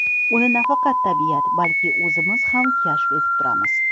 Uni nafaqat tabiat, balki o‘zimiz ham kashf etib turamiz.